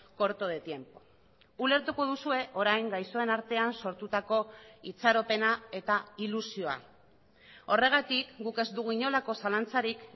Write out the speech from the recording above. corto de tiempo ulertuko duzue orain gaixoen artean sortutako itxaropena eta ilusioa horregatik guk ez dugu inolako zalantzarik